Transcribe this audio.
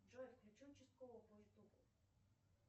джой включи участкового по ютубу